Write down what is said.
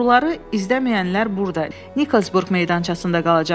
Oğruları izləməyənlər burda Nikolsburq meydançasında qalacaqlar.